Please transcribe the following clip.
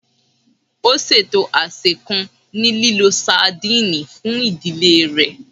Ó ṣètò àsè kan ní lílo sadìnìnnì fún ìdílé rẹ̀